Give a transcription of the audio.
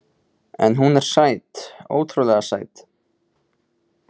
En hún er sæt, ótrúlega sæt.